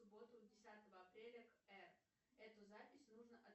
в субботу десятого апреля к р эту запись нужно